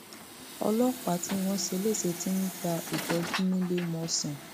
ọlọpàá tí wọn ṣe léṣe ti ń gba ìtọjú níléemọsán